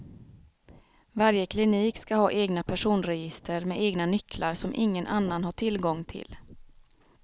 Varje klinik skall ha egna personregister med egna nycklar som ingen annan har tillgång till.